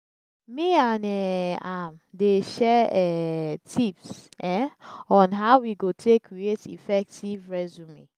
me and um am dey share um tips um on how we go take create effective resume